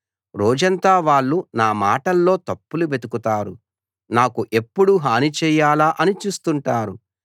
రోజంతా వాళ్ళు నా మాటల్లో తప్పులు వెతుకుతారు నాకు ఎప్పుడు హాని చేయాలా అని చూస్తుంటారు